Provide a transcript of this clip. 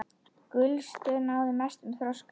Gulstör náði mestum þroska.